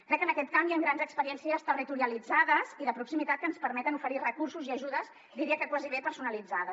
crec que en aquest camp hi han grans experiències territorialitzades i de proximitat que ens permeten oferir recursos i ajudes diria que gairebé personalitzades